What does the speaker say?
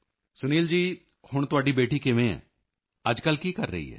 ਸੁਨੀਲ ਜੀ ਹੁਣ ਤੁਹਾਡੀ ਬੇਟੀ ਕਿਵੇਂ ਹੈ ਅੱਜਕੱਲ੍ਹ ਕੀ ਕਰ ਰਹੀ ਹੈ